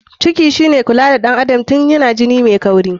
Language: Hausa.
Ciki shine kula da ɗan adam tun yana ini mai kauri.